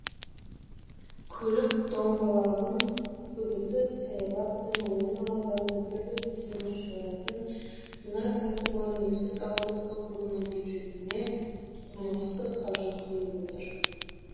көлік доңғалағын үгітіп саябақ пен ойын алаңдарына түрлі төсеніш шығаратын мына кәсіпорын ертіс ауылдық округінің бюджетіне қомақты қаржы құйып отыр